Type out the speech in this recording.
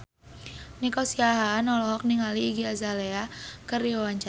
Nico Siahaan olohok ningali Iggy Azalea keur diwawancara